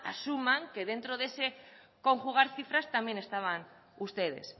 asuman que dentro de ese conjugar cifras también estaban ustedes